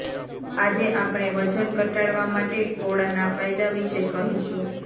આજે આપણે વજન ઘટાડવા માટે કોળાના ફાયદા વિશે કહીશું